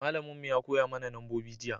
malamin mu ya koya mana nambobi jiya